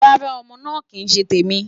Rara, Ọmọ naa kii ṣe temi